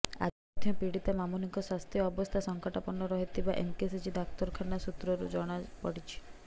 ଆଜି ମଧ୍ୟ ପୀଡ଼ିତା ମାମୁନିଙ୍କ ସ୍ୱାସ୍ଥ୍ୟ ଅବସ୍ଥା ସଙ୍କଟାପନ୍ନ ରହିଥିବା ଏମ୍କେସିଜି ଡାକ୍ତରଖାନା ସୂତ୍ରରୁ ଜଣାପଡ଼ିଛି